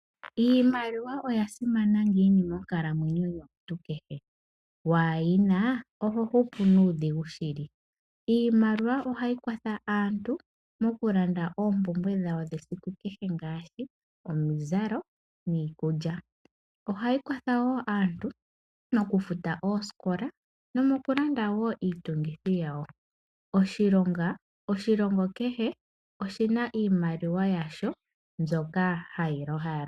Iimaliwa oyasimana ngiini monkalamwenyo yomuntu kehe? Waayina oho hupu nuudhigu shili. Iimaliwa ohayi kwatha aantu mo ku landa oompumbwe dhawo dhesiku kehe ngaashi omizalo niikulya. Ohayi kwatha wo aantu mokufuta oosikola nomokulanda wo iitungithi yawo. Oshilongo kehe oshina iimaliwa yasho mbyoka hayi longithwa.